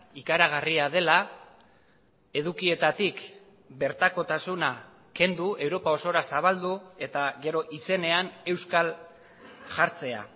ikaragarria dela edukietatik bertakotasuna kendu europa osora zabaldu eta gero izenean euskal jartzea